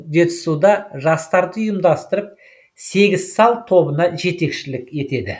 жетісуда жастарды ұйымдастырып сегіз сал тобына жетекшілік етеді